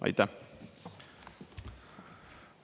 Aitäh!